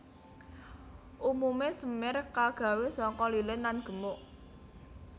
Umumé semir kagawé saka lilin lan gemuk